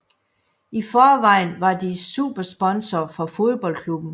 I forvejen var de supersponsor for fodboldklubben